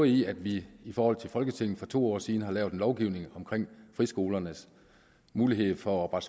i at vi i forhold til folketinget for to år siden har lavet en lovgivning om friskolernes mulighed for at